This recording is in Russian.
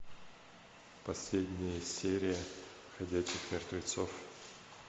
последняя серия ходячих мертвецов